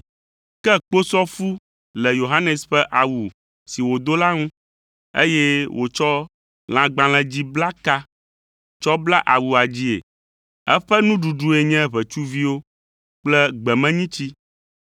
Ke kposɔfu le Yohanes ƒe awu si wòdo la ŋu, eye wòtsɔ lãgbalẽlidziblaka tsɔ bla awua dzii; eƒe nuɖuɖue nye ʋetsuviwo kple gbemenyitsi.